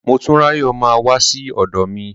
Motúnráyọ̀ máa wá sí ọ̀dọ̀ mi.